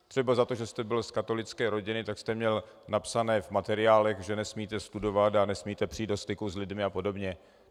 Třeba za to, že jste byl z katolické rodiny, tak jste měl napsané v materiálech, že nesmíte studovat a nesmíte přijít do styku s lidmi a podobně.